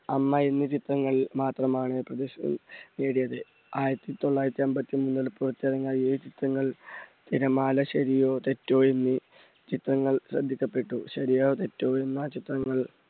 അമ്മ എന്നീ ചിത്രങ്ങളിൽ മാത്രമാണ് നേടിയത്. ആയിരത്തി തൊള്ളായിരത്തി അമ്പത്തി മൂന്നിൽ പുറത്തിറങ്ങിയ ഏഴ് ചിത്രങ്ങൾ തിരമാല, ശെരിയോ തെറ്റോ എന്നീ ചിത്രങ്ങൾ ശ്രദ്ധിക്കപ്പെട്ടു. ശെരിയോ തെറ്റോ എന്ന ചിത്രത്തിൽ